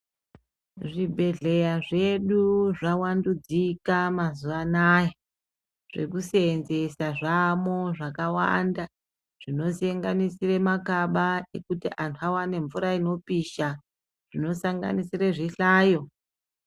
Zvibhehleya zvedu zvavandudzika mazuwa anaya zvekusenzesa zvamwo zvakawanda zvinosenganisire makaba ekuti vantu vaone mvura inopisha zvinosanganisire zvihlayo.